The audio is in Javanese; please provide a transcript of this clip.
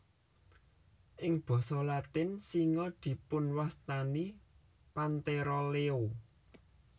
Ing basa Latin singa dipunwastani Panthera leo